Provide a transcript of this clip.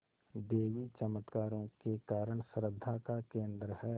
देवी चमत्कारों के कारण श्रद्धा का केन्द्र है